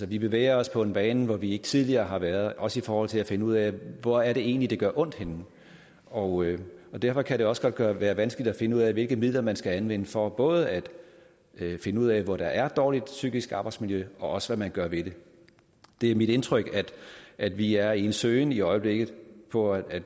vi bevæger os på en bane hvor vi ikke tidligere har været også i forhold til at finde ud af hvor er det egentlig det gør ondt og derfor kan det også godt være vanskeligt at finde ud af hvilke midler man skal anvende for både at finde ud af hvor der er dårligt psykisk arbejdsmiljø og også hvad man gør ved det det er mit indtryk at vi er i en søgen i øjeblikket og at